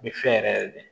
N bɛ fɛn yɛrɛ de